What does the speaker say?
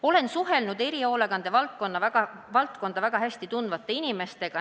Olen suhelnud erihoolekande valdkonda väga hästi tundvate inimestega.